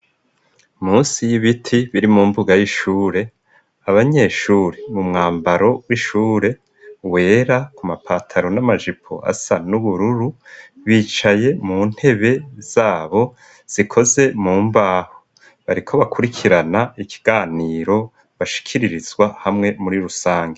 Munsi y'ibiti biri mu mbuga y'ishure, abanyeshuri mu mwambaro w'ishure wera ku mapataro n'amajipo asa n'ubururu, bicaye mu ntebe zabo zikoze mu mbaho. Bariko bakurikirana ikiganiro bashikiririzwa hamwe muri rusange.